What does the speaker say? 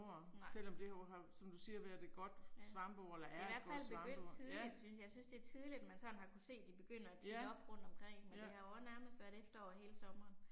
Nej. Ja. Det er i hvert fald begyndt tidligt synes, jeg synes det er tidligt man sådan har kunnet se det begynder at titte op rundt omkring, men det har jo også nærmest været efterår hele sommeren